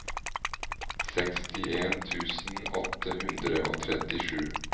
sekstien tusen åtte hundre og trettisju